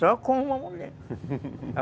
Só com uma mulher.